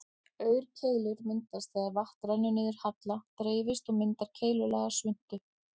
Aurkeilur myndast þegar vatn rennur niður halla, dreifist og myndar keilulaga svuntu.